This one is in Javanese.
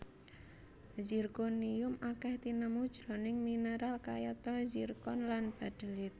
Zirkonium akèh tinemu jroning mineral kayata zirkon lan baddelyit